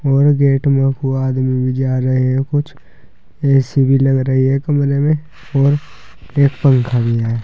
और गेट में आदमी भी जा रहे हैं कुछ ए_सी भी लग रही हैं कमरे में और एक पंखा भी है।